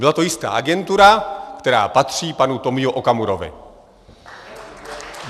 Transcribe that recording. Byla to jistá agentura, která patří panu Tomio Okamurovi.